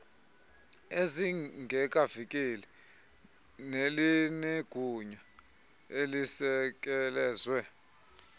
ezingekaveli nelinegunya elisekelezwe